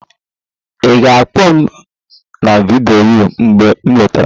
ị ga-akpọ m na vidiyo mgbe ị lọtara?